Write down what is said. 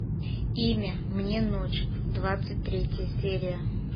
имя мне ночь двадцать третья серия